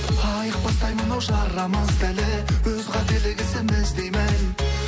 айықпастай мынау жарамыз да әлі өз қателігі ісіміз деймін